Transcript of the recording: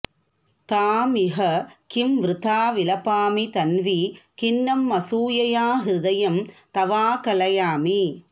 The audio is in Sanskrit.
ताम् इह किम् वृथा विलपामि तन्वि खिन्नमसूयया हृदयम् तवाकलयामि